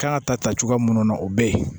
Kan ka ta ta cogoya minnu na o bɛ yen